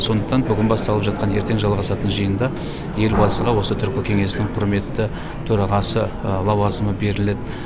сондықтан бүгін басталып жатқан ертең жалғасатын жиында елбасыға осы түркі кеңесінің құрметті төрағасы лауазымы беріледі